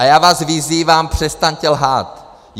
A já vás vyzývám, přestaňte lhát!